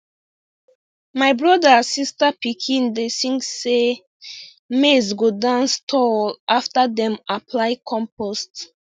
my brother-sister pikin dey sing say dey sing say maize go dance tall after dem apply compost